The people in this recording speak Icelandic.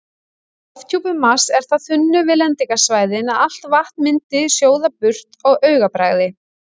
Lofthjúpur Mars er það þunnur við lendingarsvæðin að allt vatn myndi sjóða burt á augabragði.